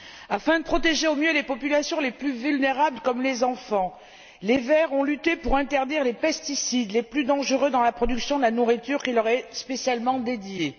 Afin de protéger au mieux les groupes de population les plus vulnérables, tels les enfants, les Verts ont lutté pour interdire les pesticides les plus dangereux dans la production de la nourriture qui leur est spécialement destinée.